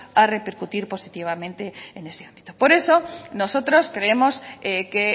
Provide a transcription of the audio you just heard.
a repercutir positivamente en ese ámbito por eso nosotros creemos que